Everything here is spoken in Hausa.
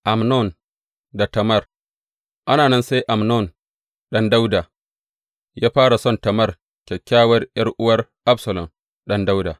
Amnon da Tamar Ana nan sai Amnon ɗan Dawuda ya fara son Tamar, kyakkyawar ’yar’uwar Absalom ɗan Dawuda.